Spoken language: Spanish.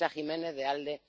a Teresa Jiménez, de ALDE